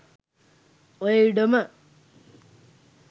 ඔය ඉඩම